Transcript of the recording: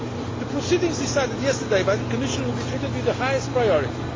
The proceedings decided on yesterday by the Commission will be treated with the highest priority.